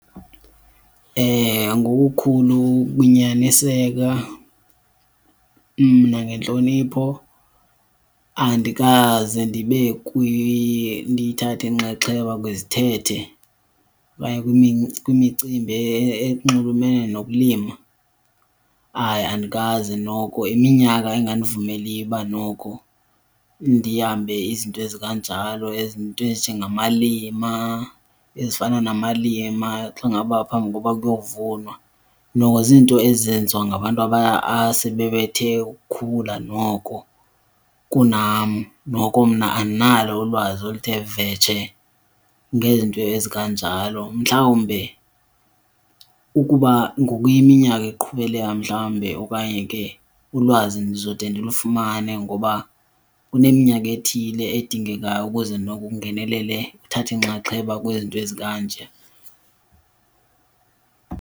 Ngokukhulu ukunyaniseka nangentlonipho andikaze ndibe ndiyithathe inxaxheba kwizithethe okanye kwimicimbi enxulumene nokulima, hayi andikaze noko. Yiminyaka engandivumeliyo uba noko ndihambe izinto ezikanjalo, izinto ezinjengamalima, ezifana namalima xa ngaba phambi koba kuyovunwa. Noko ziinto ezenziwa ngabantu asebebethe ukukhula noko kunam, noko mna andinalo ulwazi oluthe vetshe ngezinto ezikanjalo. Mhlawumbe ukuba ngoya iminyaka iqhubeleka mhlawumbe okanye ke ulwazi ndizode ndilufumane ngoba kuneminyaka ethile edingekayo ukuze noko ungenelele, uthathe inxaxheba kwizinto ezikanje.